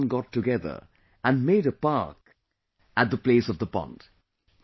Everyone got together and made a park at the place of the pond